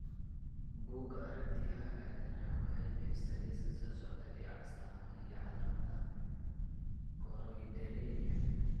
Bugga Aragtiyaha Aadanaha waxay bixisaa liiska soo socda ee astaamaha iyo calaamadaha Choroideremia.